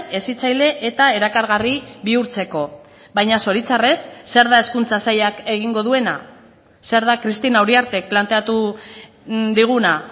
hezitzaile eta erakargarri bihurtzeko baina zoritxarrez zer da hezkuntza sailak egingo duena zer da cristina uriartek planteatu diguna